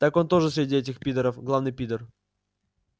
так он тоже среди этих пидоров главный пидор